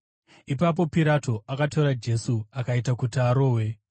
Ipapo Pirato akatora Jesu akaita kuti arohwe.